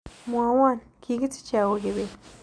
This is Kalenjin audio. Mwawon kikisiche au kibet